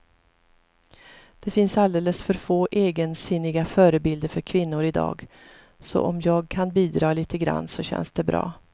Det finns alldeles för få egensinniga förebilder för kvinnor i dag, så om jag kan bidra lite grann så känns det bra.